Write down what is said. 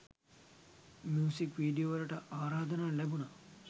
Music වීඩියෝවලට ආරාධනා ලැබුණා.